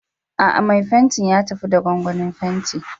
A'a, mai fenti ya tafi da gwangwanin fenti.